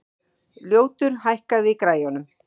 Ljótur, hækkaðu í græjunum.